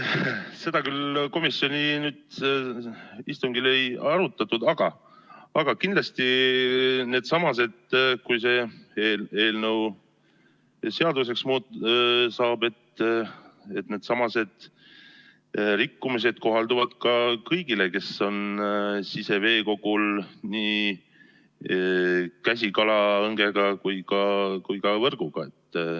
Seda küll komisjoni istungil ei arutatud, aga kindlasti, kui see eelnõu seaduseks saab, siis needsamased rikkumised kohalduvad kõigile, kes on siseveekogul nii käsikalaõngega kui ka võrguga.